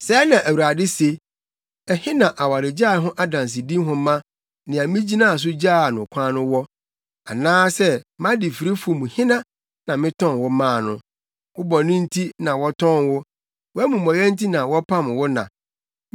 Sɛɛ na Awurade se: “Ɛhe na awaregyae ho adansedi nhoma, nea migyinaa so gyaa no kwan no wɔ? Anaa sɛ mʼadefirifo mu hena na metɔn wo maa no? Wo bɔne nti na wɔtɔn wo; Wʼamumɔyɛ nti na wɔpam wo na.